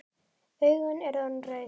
Augun eru orðin rauð.